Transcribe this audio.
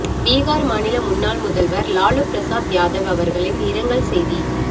பிஹார் மாநில முன்னாள் முதல்வர் லாலு பிரசாத் யாதவ் அவர்களின் இரங்கல் செய்தி